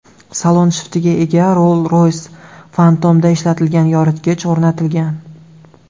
Salon shiftiga ega Rolls-Royce Phantom’da ishlatilgan yoritgich o‘rnatilgan.